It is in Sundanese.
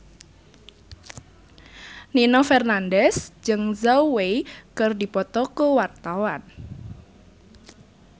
Nino Fernandez jeung Zhao Wei keur dipoto ku wartawan